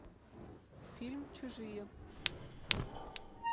фильм чужие